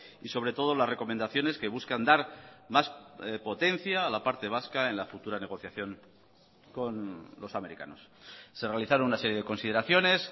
y sobre todo las recomendaciones que buscan dar más potencia a la parte vasca en la futura negociación con los americanos se realizaron una serie de consideraciones